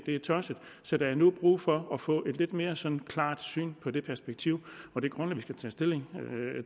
er tosset så der er nu brug for at få et lidt mere sådan klart syn på det perspektiv og det grundlag vi skal tage stilling